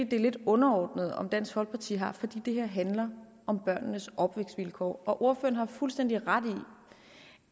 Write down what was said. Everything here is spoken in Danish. det er lidt underordnet om dansk folkeparti har fordi det her handler om børnenes opvækstvilkår ordføreren har fuldstændig ret i